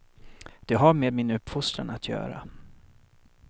Det har med min uppfostran att göra.